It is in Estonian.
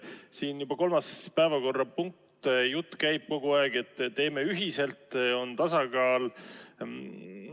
Siin on juba kolmas päevakorrapunkt selline, kus kogu aeg käib jutt sellest, et teeme ühiselt, on tasakaal.